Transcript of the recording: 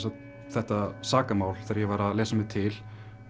þetta sakamál þegar ég var að lesa mér til